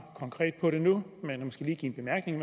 konkret på det nu men måske lige give en bemærkning